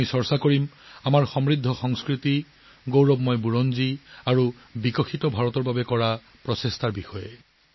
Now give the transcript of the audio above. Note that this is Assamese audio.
আমি আলোচনা কৰিম আমাৰ চহকী সংস্কৃতি গৌৰৱময় ইতিহাস আৰু বিকশিত ভাৰতৰ প্ৰচেষ্টাসমূহৰ বিষয়ে